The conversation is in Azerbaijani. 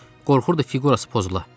Qorxurdu fiqurası pozula.